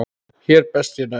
Hér best ég næ.